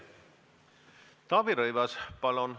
Taavi Rõivas, palun!